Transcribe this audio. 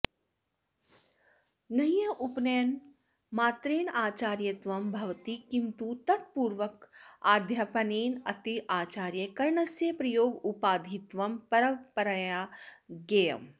नह्रुपनयनमात्रेण आचार्यत्वं भवति किं तु तत्पूर्वकाध्यापनेनेत्याचार्यकरणस्य प्रयोगोपाधित्वं परपरया ज्ञेयम्